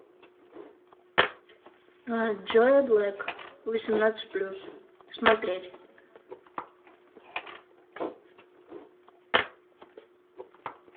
джо блэк восемнадцать плюс смотреть